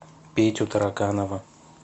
петю тараканова